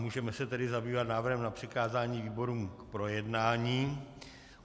Můžeme se tedy zabývat návrhem na přikázání výborům k projednání.